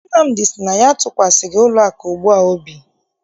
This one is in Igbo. Nnamdi sị na ya atụkwasịghị ụlọakụ ugbua obi.